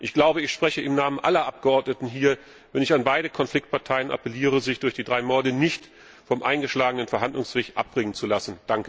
Ich glaube, ich spreche im Namen aller Abgeordneten hier, wenn ich an beide Konfliktparteien appelliere, sich durch die drei Morde nicht vom eingeschlagenen Verhandlungsweg abbringen zu lassen.